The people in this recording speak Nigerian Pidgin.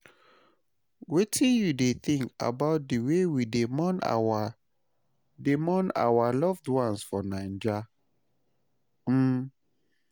Wetin you think about di way we dey mourn our dey mourn our loved ones for Naija? um